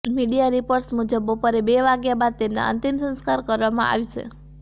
media reports મુજબ બપોરે બે વાગ્યા બાદ તેમના અંતિમ સંસ્કાર કરવામાં આવશે